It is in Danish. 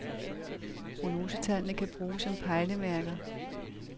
Prognosetallene kan bruges som pejlemærker.